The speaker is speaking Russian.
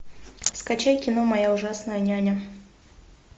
скачай кино моя ужасная няня